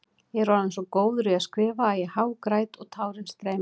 Ég er orðinn svo góður í að skrifa að ég hágræt og tárin streyma.